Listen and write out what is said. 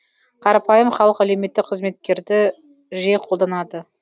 қарапайым халық әлеуметтік қызметтерді жиі қолданады